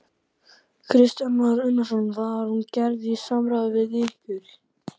Kristján Már Unnarsson: Var hún gerð í samráði við ykkur?